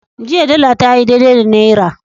Jiya dala tayi daidai da naira.